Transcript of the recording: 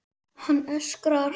Hann öskrar.